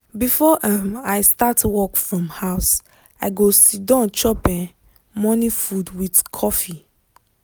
before um i start work from house i go siddon chop um morning food with coffee.